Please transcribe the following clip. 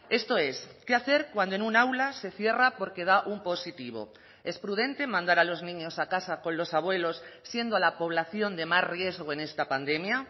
esto es qué hacer cuando en un aula se cierra porque da un positivo es prudente mandar a los niños a casa con los abuelos siendo la población de más riesgo en esta pandemia